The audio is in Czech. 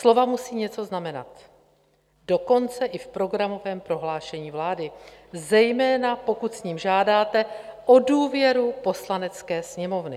Slova musí něco znamenat, dokonce i v Programovém prohlášení vlády, zejména pokud s ním žádáte o důvěru Poslanecké sněmovny.